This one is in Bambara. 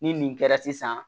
Ni nin kɛra sisan